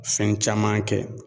Fɛn caman kɛ